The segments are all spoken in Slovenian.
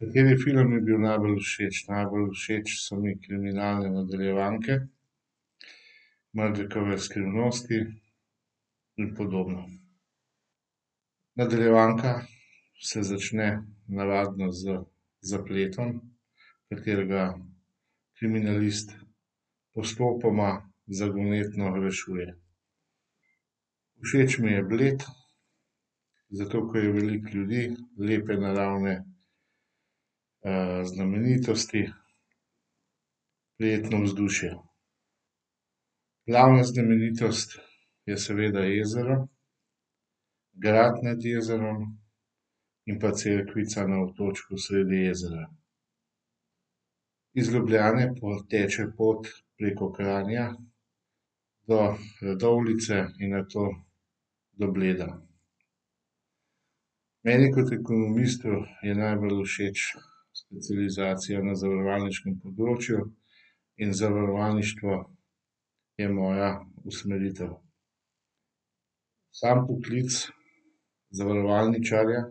Kateri film mi je bil najbolj všeč? Najbolj všeč so mi kriminalne nadaljevanke. Margikove skrivnosti in podobno. Nadaljevanka se začne navadno z zapletom, katerega kriminalist postopoma zagonetno rešuje. Všeč mi je Bled, zato ker je veliko ljudi, lepe naravne, znamenitosti, prijetno vzdušje. Glavna znamenitost je seveda jezero. Grad nad jezerom in pa cerkvica na otočku sredi jezera. Iz Ljubljane teče pot preko Kranja do Radovljice in nato do Bleda. Meni kot ekonomistu je najbolj všeč specializacija na zavarovalniškem področju in zavarovalništvo je moja usmeritev. Samo poklic zavarovalničarja,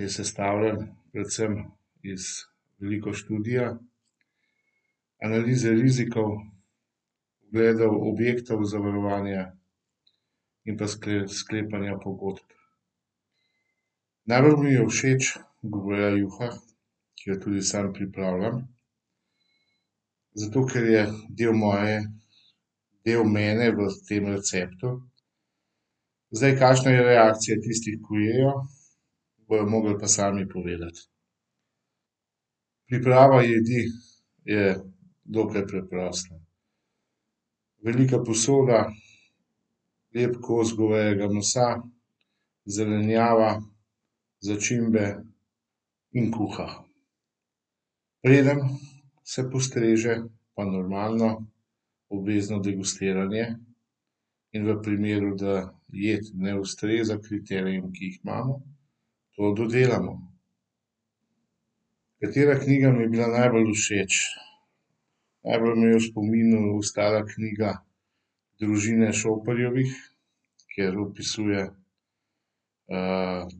je sestavljen predvsem iz veliko študija. Analize rizikov, ogledov objektov zavarovanja in pa sklepanja pogodb. Najbolj mi je všeč goveja juha, ki jo tudi sam pripravljam. Zato ker je del moje, del mene v tem receptu. Zdaj, kakšna je reakcija tistih, ko jejo, bojo mogli pa sami povedati. Priprava jedi je dokaj preprosta. Velika posoda, lep kos govejega mesa, zelenjava, začimbe in kuha. Preden se postreže, pa normalno obvezno degustiranje in v primeru, da jed ne ustreza kriterijem, ki jih imamo, jo dodelamo. Katera knjiga mi je bila najbolj všeč? Najbolj mi je v spominu ostala knjiga družine Šoperjevih, kjer opisuje,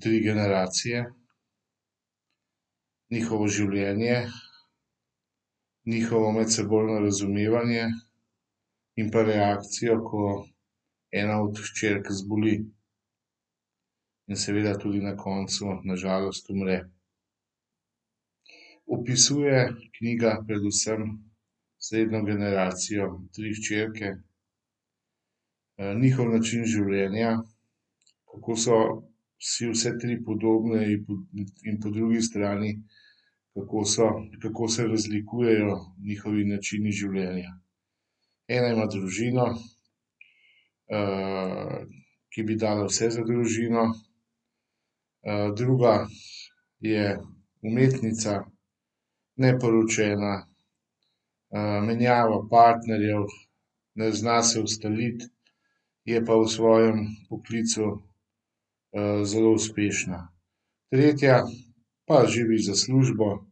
tri generacije, njihovo življenje, njihovo medsebojno razumevanje in pa reakcijo, ko ena od hčerk zboli. In seveda tudi na koncu na žalost umre. Opisuje knjiga predvsem srednjo generacijo, tri hčerke. njihov način življenja, kako so si vse tri podobne in po drugi strani, kako so, kako se razlikujejo njihovi načini življenja. Ena ima družino, ki bi dala vse za družino, druga je umetnica, neporočena, menjava partnerjev, ne zna se ustaliti je pa v svojem poklicu, zelo uspešna. Tretja pa živi za službo,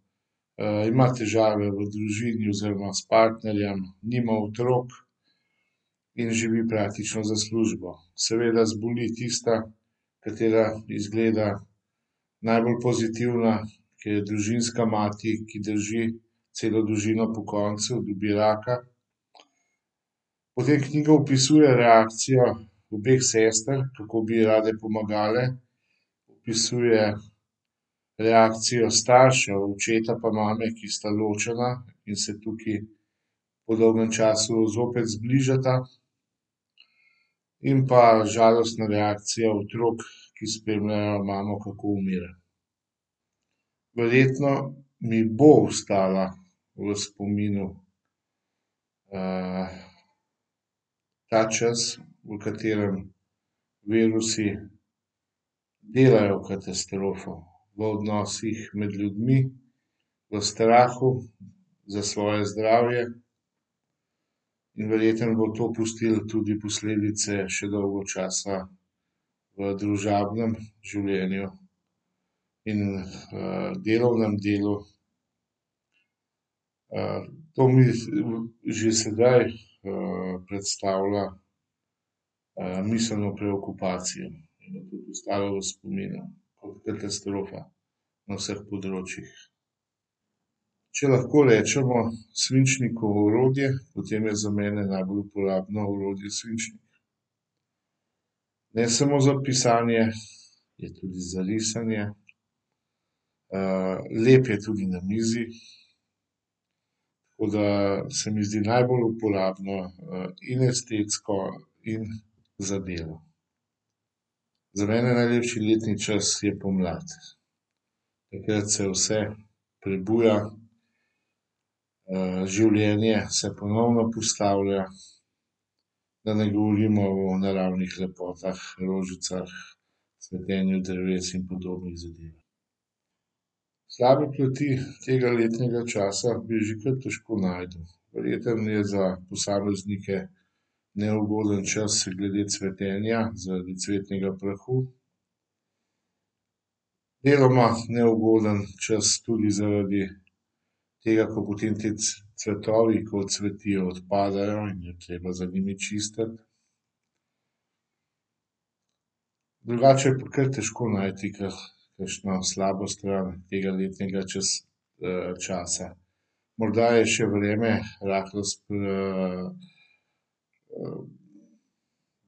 ima težave v družini oziroma s partnerjem. Nima otrok. In živi praktično za službo. Seveda zboli tista, katera izgleda najbolj pozitivna, ki je družinska mati, ki drži celo družino pokonci, dobi raka. V tej knjigi opisuje reakcijo obeh sester, kako bi ji rade pomagale, opisuje reakcijo staršev, očeta pa mame, ki sta ločena in se tukaj po dolgem času zopet zbližata. In pa žalostna reakcija otrok, ki spremljajo imamo, kako umira. Verjetno mi bo ostal v spominu, ta čas, v katerem virusi delajo katastrofo v odnosih med ljudmi, v strahu za svoje zdravje in verjetno bo to pustil tudi posledice še dolgo časa v družabnem življenju. In, delovnem delu. to že sedaj, predstavlja, miselno preokupacijo in je tudi ostalo v spominu. Kot katastrofa na vseh področjih. Če lahko rečemo svinčniku orodje, potem je za mene najbolj uporabno orodje svinčnik. Ne samo za pisanje, je tudi za risanje, lep je tudi na mizi. Tako da se mi zdi najbolj uporabno, in estetsko in za delo. Za mene najlepši letni čas je pomlad. Takrat se vse prebuja, življenje se ponovno postavlja, da ne govorimo o naravnih lepotah, rožicah, cvetenju dreves in podobnih zadevah. Slabe plati tega letnega časa bi že kar težko našel. Verjetno je za posameznike neugoden čas glede cvetenja, zaradi cvetnega prahu. Deloma neugoden čas tudi zaradi tega, ker potem ti cvetovi, ko odcvetijo, odpadejo in je treba za njimi čistiti. Drugače je pa kar težko najti k kakšno slabo stvar tega letnega časa. Morda je še vreme rahlo s,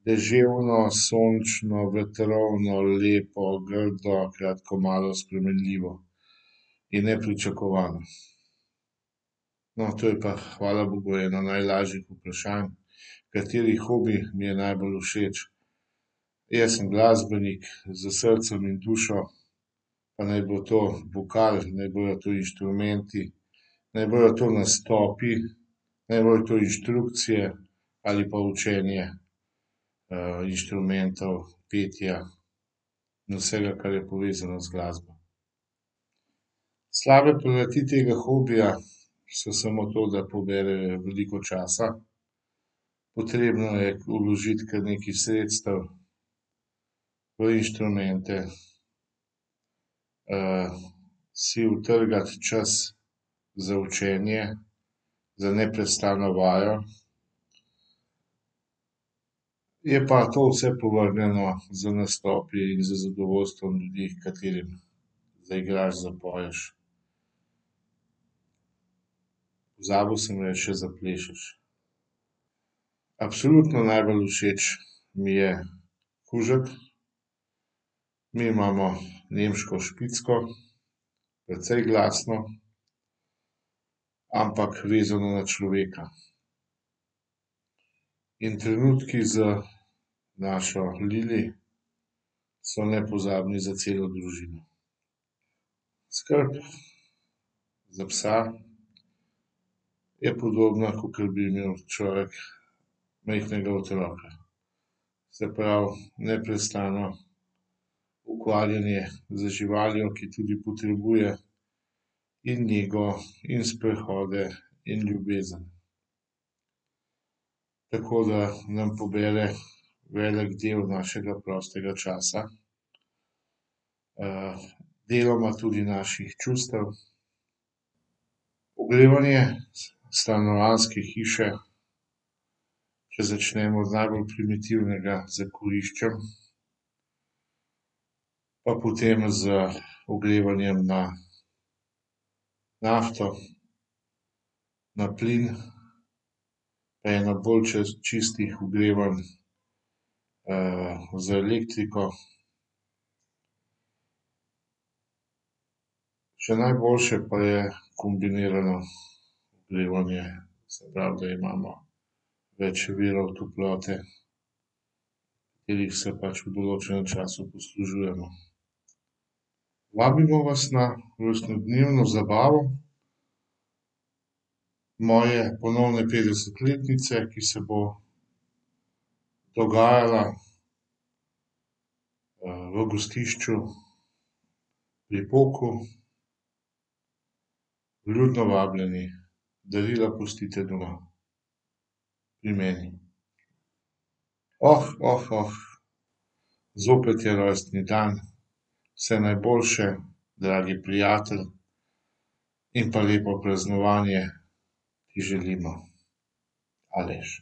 deževno, sončno, vetrovno, lepo, grdo, kratko malo spremenljivo. In nepričakovano. No, to je pa hvala bogu eno najlažjih vprašanj. Kateri hobi mi je najbolj všeč? Jaz sem glasbenik s srcem in dušo. Pa naj bo to vokal, naj bojo to inštrumenti, naj bojo to nastopi, naj bojo to inštrukcije ali pa učenje, inštrumentov, petja in vsega, kar je povezano z glasbo. Slabe plati tega hobija so samo to, da pobere veliko časa, potrebno je vložiti kar nekaj sredstev v inštrumente. si utrgati čas za učenje, za neprestano vajo. Je pa to vse povrnjeno z nastopi, z zadovoljstvom ljudi, katerim zaigraš, zapoješ. Pozabil sem reči še zaplešeš. Absolutno najbolj všeč mi je kužek. Mi imamo nemško špicko, precej glasno, ampak vezano na človeka. In trenutku z našo Lili so nepozabni za celo družino. Skrb za psa je podobna, kakor bi imel človek majhnega otroka. Se pravi, neprestano ukvarjanje z živaljo, ki tudi potrebuje in nego in sprehode in ljubezen. Tako da nam pobere velik del našega prostega časa, deloma tudi naših čustev. Ogrevanje stanovanjske hiše, če začnemo z najbolj primitivnega, s kuriščem. Pa potem z ogrevanjem na nafto, na plin, pa eno bolj čistih ogrevanj, z elektriko. Še najboljše pa je kombinirano ogrevanje, se pravi, da imamo več virov toplote, katerih se pač v določenem času poslužujemo. Vabimo vas na rojstnodnevno zabavo moje ponovne petdesetletnice, ki se bo dogajala, v gostišču Pri poku. Vljudno vabljeni, darila pustite doma pri meni. zopet je rojstni dan. Vse najboljše, dragi prijatelj in pa lepo praznovanje ti želimo. Aleš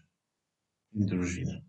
in družina.